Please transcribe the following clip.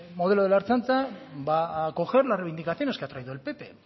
modelo de la ertzaintza va a acoger la reivindicaciones que ha traído el pp